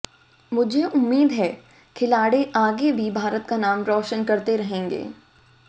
मुझे उम्मीद है खिलाड़ी आगे भी भारत का नाम रोशन करते रहेंगे